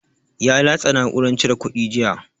Ya latsa na'uran cire kuɗi jiya.